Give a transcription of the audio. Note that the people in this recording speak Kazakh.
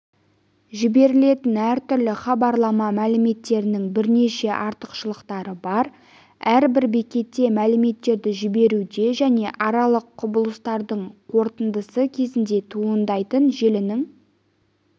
жіберілетін әртүрлі хабарлама мәліметтерінің бірнеше артықшылықтары бар әрбір бекетте мәліметтерді жіберуде және аралық құбылыстардың қорытындысы кезінде туындайтын желінің